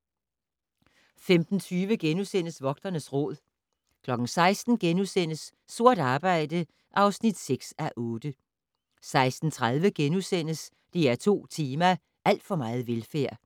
15:20: Vogternes Råd * 16:00: Sort arbejde (6:8)* 16:30: DR2 Tema: Alt for meget velfærd *